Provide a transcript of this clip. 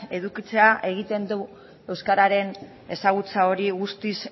edukitzea egiten du euskararen ezagutza hori guztiz